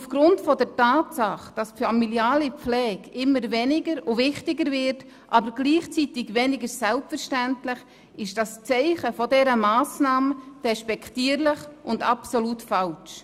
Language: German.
Aufgrund der Tatsache, dass die familiale Pflege immer wichtiger, aber gleichzeitig weniger selbstverständlich wird, ist das Zeichen dieser Massnahme despektierlich und absolut falsch.